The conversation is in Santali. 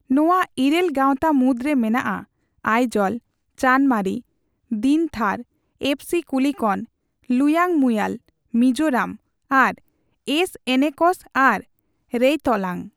ᱱᱚᱣᱟ ᱤᱨᱟᱹᱞ ᱜᱟᱣᱛᱟ ᱢᱩᱫᱨᱮ ᱢᱮᱱᱟᱜᱼᱟ ᱟᱭᱡᱚᱞ, ᱪᱟᱱᱢᱟᱨᱤ, ᱫᱤᱱᱛᱷᱟᱨ, ᱮᱯᱷᱥᱤ ᱠᱩᱞᱤᱠᱚᱱ, ᱞᱩᱭᱟᱝᱢᱩᱭᱟᱞ, ᱢᱤᱡᱳᱨᱟᱢ, ᱟᱨ ᱮᱥ ᱮᱱᱮᱠᱚᱥ ᱟᱨ ᱨᱮᱭᱛᱚᱞᱟᱝ ᱾